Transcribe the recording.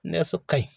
Nɛgɛso ka ɲi